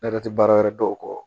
Ne yɛrɛ tɛ baara wɛrɛ dɔn o kɔ